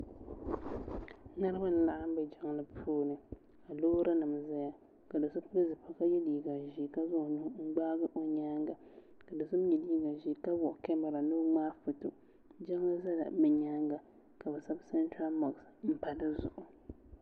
Niriba n laɣim bɛ jiŋli puuni ka loori nima zɛya ka do so pili zipiligu ka ye liiga ʒɛɛ kavzaŋ o nuhi. n gbaagi o yɛanga ka do so mi ye liiga ʒɛɛ ka wuɣi kamara ni o mŋai gi o jiŋli zala bi yɛanga ka bi sabi sabtra mɔks mpa di zuɣu.